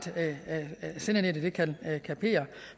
sendenettet kan kapere